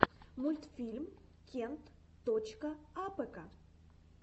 мультфильм кент точка апэка